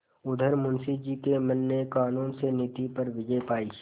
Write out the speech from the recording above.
उधर मुंशी जी के मन ने कानून से नीति पर विजय पायी